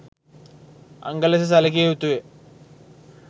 අංග ලෙස සැලකිය යුතු ය